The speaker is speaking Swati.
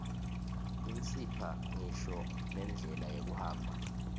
isipha ngisho nendlela yekuhamba